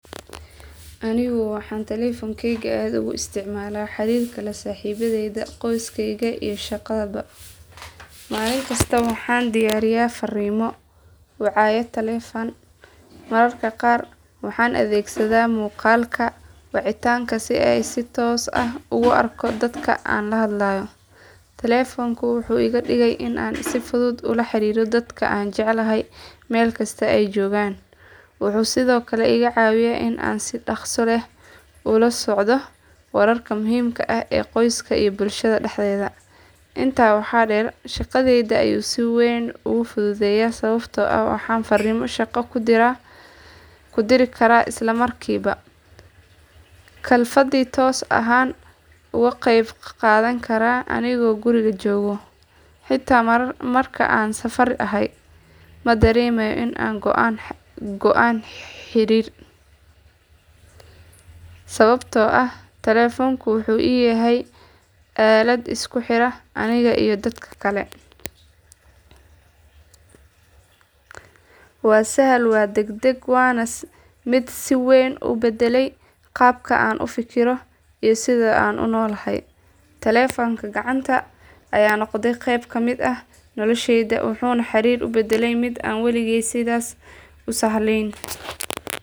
Anigu waxaan taleefankayga aad ugu isticmaalaa xariirka la saaxiibadayda, qoyskayga, iyo shaqadaba. Maalin kasta waxaan dirayaa fariimo, wacaya taleefan, mararka qaarna waxaan adeegsadaa muuqaalka wicitaanka si aan si toos ah ugu arko dadka aan la hadlayo. Taleefanku wuxuu iga dhigay in aan si fudud ula xiriiro dadka aan jecelahay meel kasta oo ay joogaan. Wuxuu sidoo kale iga caawiyay in aan si dhaqso leh ula socdo wararka muhiimka ah ee qoyska iyo bulshada dhexdeeda. Intaa waxaa dheer, shaqadayda ayuu si weyn ugu fududeeyay sababtoo ah waxaan fariimo shaqo ku diri karaa isla markiiba, kalfadhi toos ahna uga qayb qaadan karaa anigoo guriga jooga. Xitaa marka aan safar ahay, ma dareemayo in aan go’aan xiriir, sababtoo ah taleefanku wuxuu ii yahay aalad isku xira aniga iyo dadka kale. Waa sahal, waa degdeg, waana mid si weyn u badalay qaabka aan u fikirno iyo sida aan u noolnahay. Taleefanka gacanta ayaa noqday qayb ka mid ah noloshayda, wuxuuna xariirka u bedelay mid aan waligeed sidaas u sahlanayn.